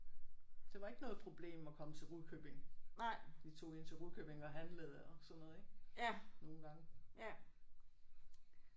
Det var ikke noget problem at komme til Rudkøbing. Vi tog ind til Rudkøbing og handlede og sådan noget ik nogle gange